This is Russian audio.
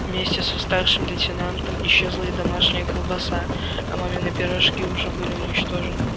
вместе со старшим лейтенантом исчезла и домашняя колбаса а мамины пирожки уже были уничтожены